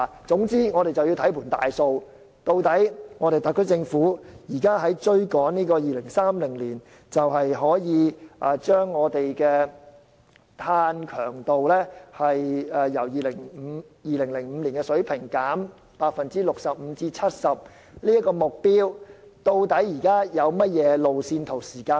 總之，我們要看全局，特區政府追求於2030年把本港的碳強度由2005年的水平降低 65% 至 70% 這個目標時，有甚麼路線圖和時間表？